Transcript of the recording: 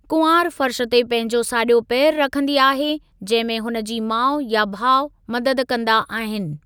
कुंवार फर्श ते पहिंजो साॼो पेरु रखंदी आहे, जहिंमे हुनजी माउ या भाउ मददु कंदा आ‍हिनि।